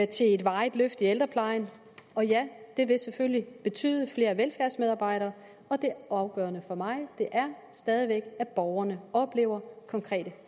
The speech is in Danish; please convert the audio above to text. til et varigt løft i ældreplejen og ja det vil selvfølgelig betyde flere velfærdsmedarbejdere og det afgørende for mig er stadig væk at borgerne oplever konkrete